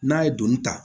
N'a ye doni ta